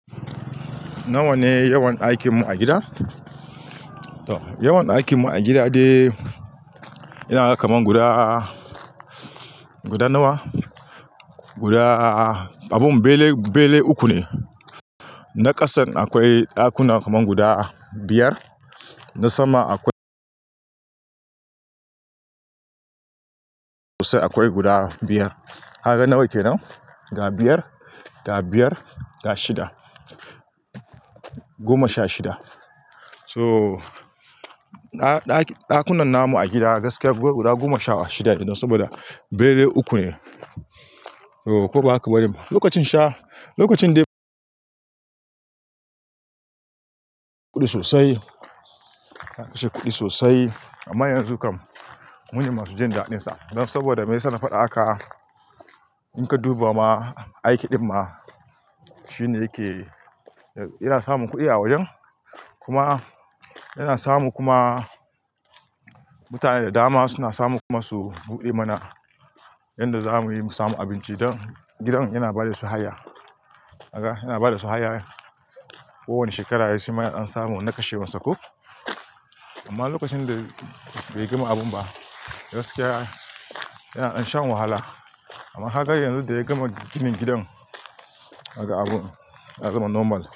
Nawa ne yawan aikinmu a gida? To, yawan aikinmu a gida dai yana ga kaman guda, guda nawa? Guda abun bele, bele uku ne. Na ƙasan akwai ɗakuna kaman guda biyar. Na sama akwai sai, akwai guda biyar. Kagan nawa ke nan. Da biyar, da biyar, da shida. Goma sha shida. So, na, ɗaki, ɗakunan namu a gida gaskiya go guda goma sha shida ne saboda bene uku ne. Ko ba haka bane? Lokacin sha, lokacin dai kuɗi sosai. Na kashe kuɗi sosai amma yanzu kam mune masu jin da'dinsa don saboda mai yasa na faɗa haka, in ka duba ma aiki ɗin ma shine yake, yana samun kuɗi a wajen. Kuma yana samu kuma mutane da dama suna samu kuma su buɗe mana yanda zamuyi mu samu abinci don gidan yana ba da su haya. Kaga, yana ba da su haya. Kowani shekara ya yi shima ya dan samu na kashewan sa ko. Amma lokacin da bai gama abun ba, gaskiya yana, dan shan wahala. Amma kaga yanzu da ya gama ginin gidan, kaga abun ya zama normal.